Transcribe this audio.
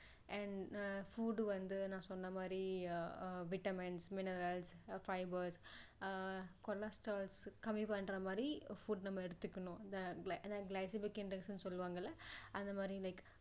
and uh food வந்து நான் சொன்ன மாதிரி ah vitamins minerals fibers ah cholestrol கம்மி பண்ற மாதிரி food எடுத்துக்கணும் glycemic index னு சொல்லுவாங்கள அந்த மாதிரி like